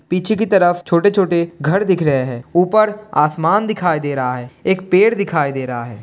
पीछे की तरफ छोटे-छोटे घर दिख रहे हैं। ऊपर आसमान दिखाई दे रहा है। एक पेड़ दिखाई दे रहा है।